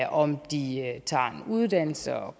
om de tager en uddannelse om